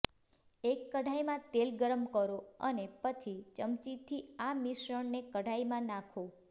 એક કઢાઈમાં તેલ ગરમ કરો અને પછી ચમચીથી આ મિશ્રણને કઢાઈમાં નાખો